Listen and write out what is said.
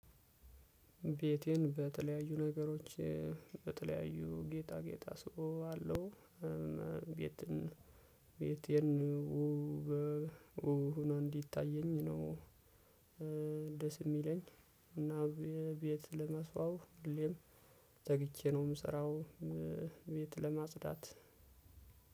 ቤቴን በተለያዩ ነገሮች በተለያዩ ጌጣ ጌጣ አስውበው አለው። ቤት ቤቴን እንዲታየኝ ነው እንደዚህ የሚለኝ እና ቤት ለመስዋብ ሁሌም ተግቼ ነው የምሰራው። ቤት ለማጽዳት